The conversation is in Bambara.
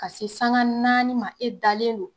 Ka se saŋa naani ma e dalen don